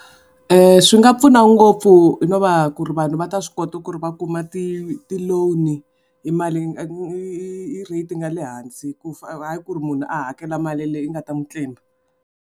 Swi nga pfuna ngopfu hi no va ku ri vanhu va ta swi kota ku ri va kuma ti ti-loan hi mali hi rate yi nga le hansi ku hayi ku ri munhu a hakela mali leyi nga ta n'wi tlimba.